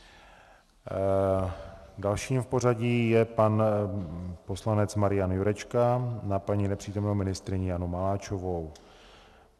Dalším v pořadí je pan poslanec Marian Jurečka na paní nepřítomnou ministryni Janu Maláčovou.